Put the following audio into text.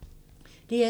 DR2